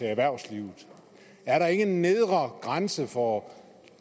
erhvervslivet er der ikke en nedre grænse for